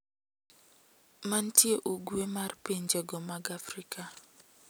Mantie Ugwe mar pinje go mag Afrika,